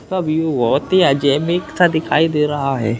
इसका व्यू बोहोत ही सा दिखाई दे रहा है।